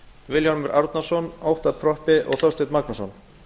vilhjálmur árnason óttarr proppé og þorsteinn magnússon